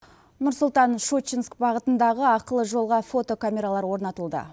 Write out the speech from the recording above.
нұр сұлтан щучинск бағытындағы ақылы жолға фотокамералар орнатылды